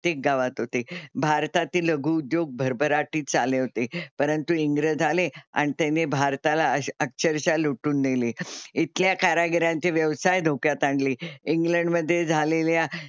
प्रत्येक गावात होते. भारतातील लघु उद्योग भरभराटीत आले होते. परंतु इंग्रज आले आणि त्यांनी भारताला अक्षरशः लुटून नेले. इथल्या कारागिरांचे व्यवसाय धोक्यात आणले. इंग्लंड मध्ये झालेल्या,